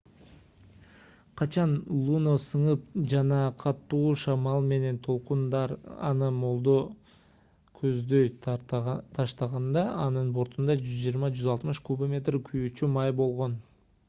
качан луно сынып жана катуу шамал менен толкундар аны молду көздөй таштаганда анын бортунда 120-160 кубометр күйүүчү май болгон